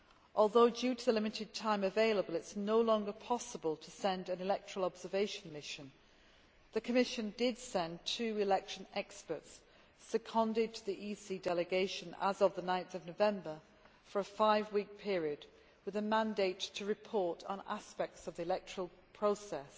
Although, owing to the limited time available, it is no longer possible to send an electoral observation mission, the Commission did send two election experts, seconded to the EC Delegation as of 9 November, for a five week period with a mandate to report on aspects of the electoral process